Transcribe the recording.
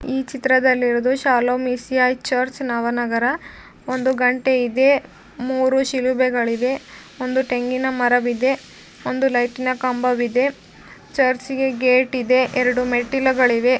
ಈ ಚಿತ್ರದಲ್ಲಿ ಇರೋದು Shalom E C I church Navanagar. ಒಂದು ಗಂಟೆ ಇದೆ. ಮೂರೂ ಶಿಲುಬೆಗಳಿವೆ. ಒಂದು ತೆಂಗಿನ ಮರವಿದೆ. ಒಂದು ಲೈಟ್ ಇನ ಕಂಬವಿದೆ. ಚರ್ಚ್ ಇಗೆ ಗೇಟ್ ಇದೆ. ಎರಡು ಮೆಟ್ಟಲುಗಳಿವೆ.